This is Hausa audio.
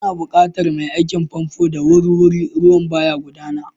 Ana buƙatar mai aikin famfo da wuri-wuri, ruwan ba ya gudana.